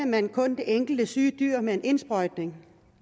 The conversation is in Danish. man kun det enkelte syge dyr med en indsprøjtning